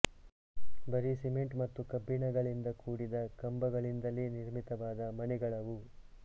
ಬರೀ ಸಿಮೆಂಟ್ ಮತ್ತು ಕಬ್ಬಿಣಗಳಿಂದ ಕೂಡಿದ ಕಂಬಗಳಿಂದಲೇ ನಿರ್ಮಿತವಾದ ಮನೆಗಳವು